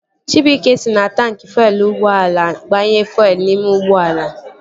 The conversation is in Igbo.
Chibuike si na taanki fuelu ụgbọala agbanye fuelu n'ime ụgbọala